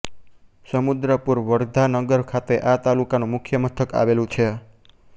સમુદ્રપુર વર્ધા નગર ખાતે આ તાલુકાનું મુખ્ય મથક આવેલું છે